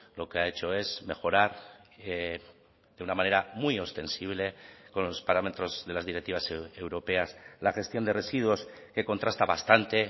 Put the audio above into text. lo que ha hecho es mejorar de una manera muy ostensible con los parámetros de las directivas europeas la gestión de residuos que contrasta bastante